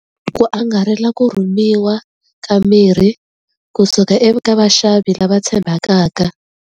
Ku angarhela ku rhumiwa ka mirhi kusuka eka vaxavi lava tshembakaka.